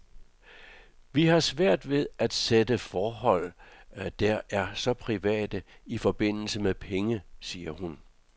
Vi har svært ved at sætte forhold, der er så private, i forbindelse med penge, siger hun.